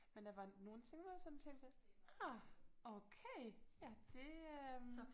Men der var nogle ting hvor jeg sådan tænkte ah okay ja det øh